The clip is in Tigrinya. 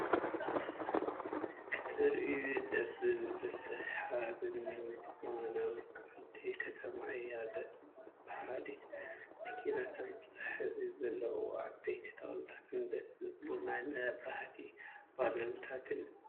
ክትርእዮ ደሰዝብልን ስሓብ ን ዝኮነ ውቅብቲ ከተማ ኣዝያ ደሰ ብሃሊት መኪናታት ብብዝሒ ዘለዎን ዓበይቲ ተክልታትን ደሰ ዝብሉን ናይ መብራህቲ ባሎታት እዩ።